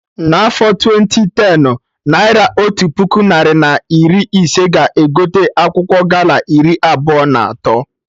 Na afọ twenti tenụ, naira Otu puku narị na iri ise ga egote akwụkwọ gala iri abụọ na atọ